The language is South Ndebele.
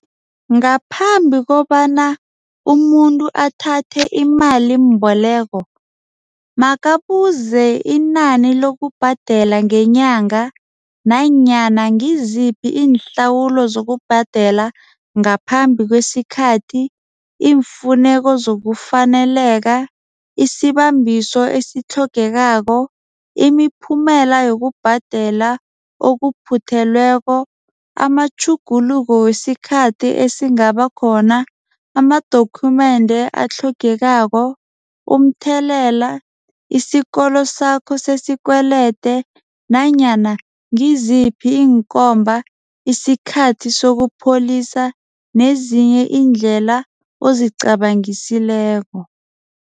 Ngaphambi kobana umuntu athathe imalimboleko makabuze inani lokubhadela ngenyanga. Nanyana ngiziphi iinhlawulo zokubhadela ngaphambi kwesikhathi. Iimfuneko zokufaneleka, isibambiso esitlhogekako, imiphumela yokubhadela okuphuthelweko. Amatjhuguluko wesikhathi esingaba khona, amadokhumende atlhogekako, umthelela isikolo sakho sesikwelete nanyana ngiziphi iinkomba isikhathi sokupholisa nezinye iindlela ozicabangisileko.